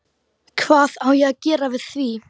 Hvað á ég að gera við því?